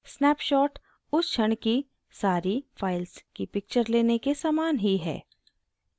snapshot उस क्षण की सारी files की picture लेने के समान ही है